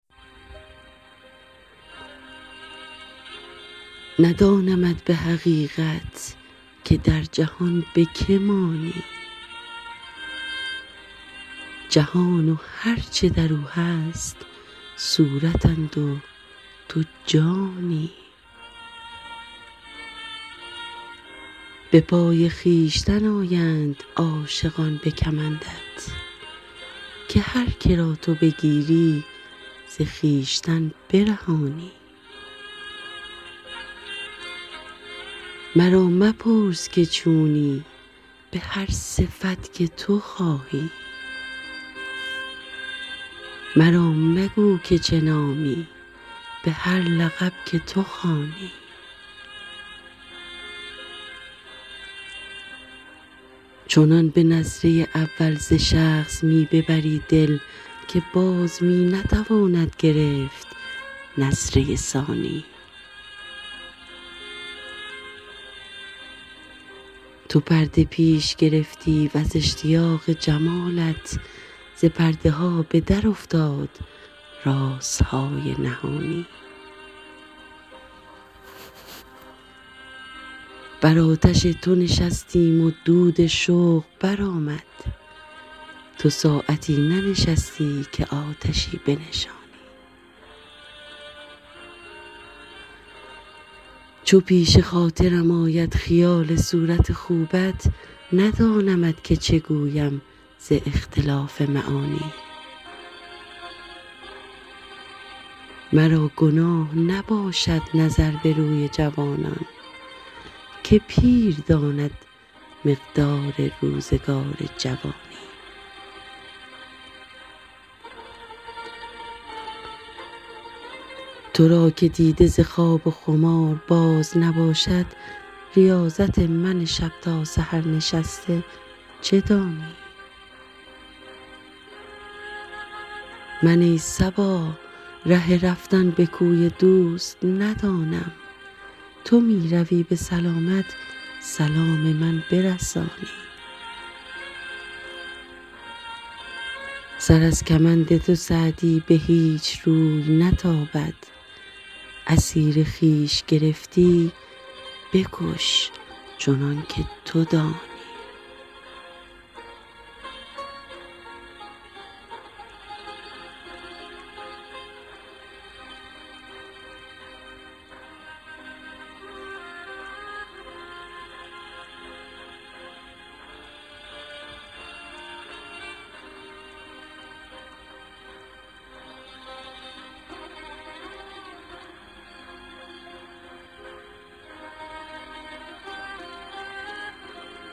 ندانمت به حقیقت که در جهان به که مانی جهان و هر چه در او هست صورتند و تو جانی به پای خویشتن آیند عاشقان به کمندت که هر که را تو بگیری ز خویشتن برهانی مرا مپرس که چونی به هر صفت که تو خواهی مرا مگو که چه نامی به هر لقب که تو خوانی چنان به نظره اول ز شخص می ببری دل که باز می نتواند گرفت نظره ثانی تو پرده پیش گرفتی و ز اشتیاق جمالت ز پرده ها به درافتاد رازهای نهانی بر آتش تو نشستیم و دود شوق برآمد تو ساعتی ننشستی که آتشی بنشانی چو پیش خاطرم آید خیال صورت خوبت ندانمت که چه گویم ز اختلاف معانی مرا گناه نباشد نظر به روی جوانان که پیر داند مقدار روزگار جوانی تو را که دیده ز خواب و خمار باز نباشد ریاضت من شب تا سحر نشسته چه دانی من ای صبا ره رفتن به کوی دوست ندانم تو می روی به سلامت سلام من برسانی سر از کمند تو سعدی به هیچ روی نتابد اسیر خویش گرفتی بکش چنان که تو دانی